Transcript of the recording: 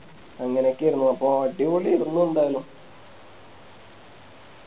അങ്ങനെനോക്കെ ആയിരുന്നു അപ്പൊ അടിപൊളിയരുന്നു എന്താലും